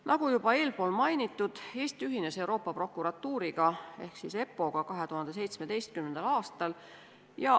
Nagu juba eespool mainitud, Eesti ühines Euroopa Prokuratuuriga ehk EPPO-ga 2017. aastal.